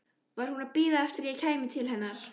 Var hún að bíða eftir að ég kæmi til hennar?